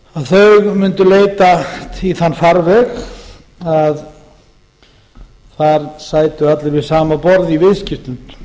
þau mundu leita í þann farveg að þar sætu allir við sama borð í viðskiptum